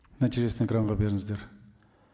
нәтижесін экранға беріңіздер